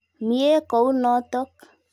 Mye kou notok.